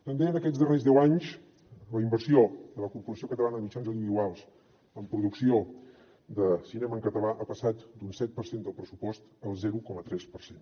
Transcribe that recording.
també en aquests darrers deu anys la inversió de la corporació catalana de mitjans audiovisuals en producció de cinema en català ha passat d’un set per cent del pressupost al zero coma tres per cent